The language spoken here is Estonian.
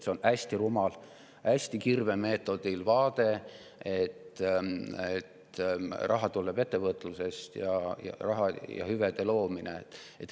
See on hästi rumal, kirvemeetodil, et raha ja hüvede loomine tuleb ettevõtlusest.